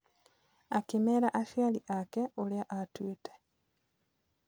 Akĩmera aciari ake ũrĩa atuĩte.